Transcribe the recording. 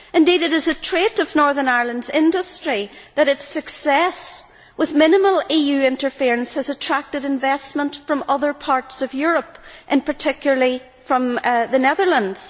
Indeed it is a trait of Northern Ireland's industry that its success with minimal EU interference has attracted investment from other parts of Europe, and particularly from the Netherlands.